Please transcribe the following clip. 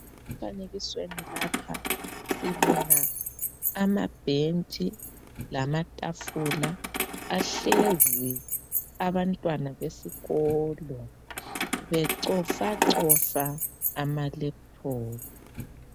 Emfanekisweni lapha sibona amabhentshi lamafafula ahlezi abantwana besikolo becofa cofa ama laptop.